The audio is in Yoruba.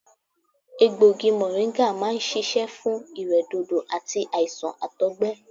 Egbògi mọ̀ríńgà máa ń ṣiṣẹ́ fún ìrẹ́dòdò àti àìsàn àtọ̀gbẹ